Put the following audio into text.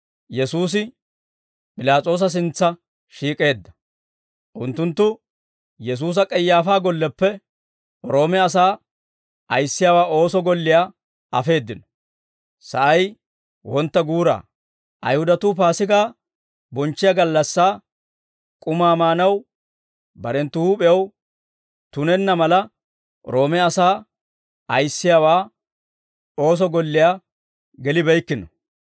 Unttunttu Yesuusa K'ayaafaa golleppe Roome asaa ayissiyaawaa ooso golliyaa afeeddino. Sa'ay wontta guura; Ayihudatuu Paasigaa bonchchiyaa gallassaa k'umaa maanaw, barenttu huup'iyaw tunenna mala, Roome asaa ayissiyaawaa ooso golliyaa gelibeykkino.